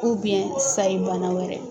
sayi bana wɛrɛ.